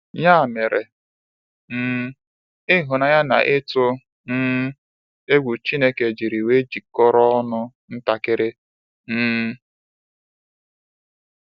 Ya mere, um ịhụnanya na ịtụ um egwu Chineke jiri wee jikọrọ ọnụ ntakịrị. um